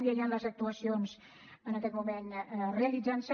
ja hi han les actuacions en aquest moment realitzant se